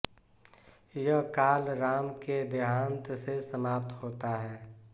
यह काल राम के देहान्त से समाप्त होता है